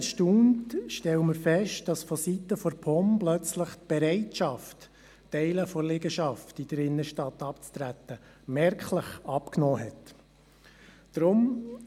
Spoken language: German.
Ein bisschen erstaunt stellen wir fest, dass vonseiten der POM auf einmal die Bereitschaft, Teile der Liegenschaft in der Innenstadt abzutreten, merklich abgenommen hat.